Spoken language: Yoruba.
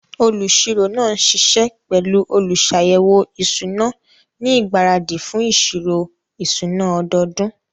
Olùṣirò náà ń ṣiṣẹ́ pẹ̀lú olùṣàyẹ̀wò ìṣúná ní ìgbáradì fún ìṣirò ìṣúná ọdọọdún.